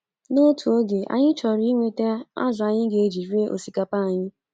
N’otu oge, anyị chọrọ inweta azụ̀ anyị ga-eji rie osikapa anyị.